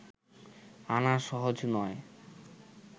আনা সহজ নয়